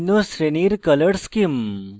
বিভিন্ন শ্রেণীর color schemes